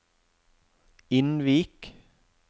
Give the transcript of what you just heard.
Innvik